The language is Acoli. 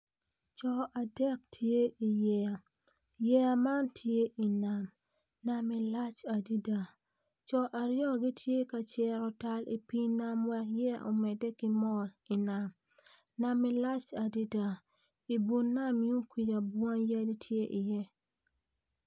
Co adek gitye i yeya yeya man tye i nam nam madit adada co aryo gitye ka keto pii nam wek yeya omede ki wot anyim nam dit adadai nam yun kuca bunga tye iye.